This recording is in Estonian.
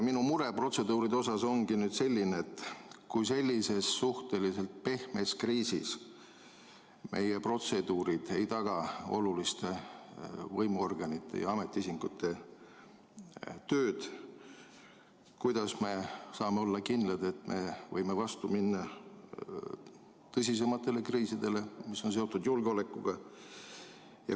Minu mure protseduuride osas ongi nüüd see, et kui sellises suhteliselt pehmes kriisis meie protseduurid ei taga oluliste võimuorganite ja ametiisikute tööd, kuidas me saame olla kindlad, et me võime vastu minna tõsisematele kriisidele, mis on seotud julgeolekuga.